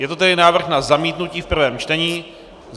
Je to tedy návrh na zamítnutí v prvém čtení.